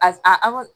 A a ka